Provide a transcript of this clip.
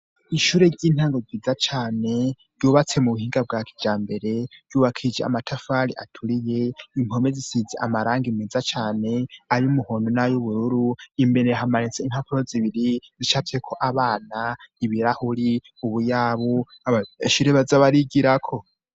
Ishure ry'intango ryiza cane ryubatse mu buhinga bwa kijambere, ryubakishije amatafari aturiye, impome zisize amarangi meza cane ay'umuhondo nay'ubururu ; imbere hamanitse impapuro zibiri zicafyeko abana, ibirahuri, ubuyabu, abanyeshure baza barigirako.